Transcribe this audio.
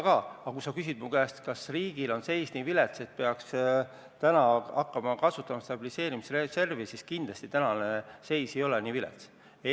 Aga kui sa küsid mu käest, kas riigi seis on nii vilets, et peaks täna hakkama kasutama stabiliseerimisreservi, siis vastan, et tänane seis kindlasti nii vilets ei ole.